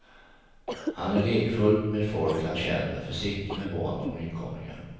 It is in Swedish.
Han är lekfull med folk han känner, försiktig med barn och nykomlingar.